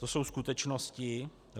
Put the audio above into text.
To jsou skutečnosti.